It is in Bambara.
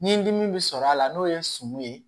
Ni dimi bɛ sɔrɔ a la n'o ye n sɔmi ye